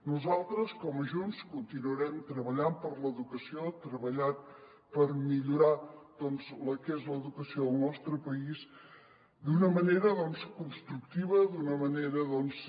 nosaltres com a junts continuarem treballant per l’educació treballant per mi·llorar la que és l’educació del nostre país d’una manera constructiva d’una manera doncs